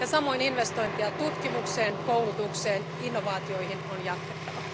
Samoin investointeja tutkimukseen, koulutukseen ja innovaatioihin on jatkettava.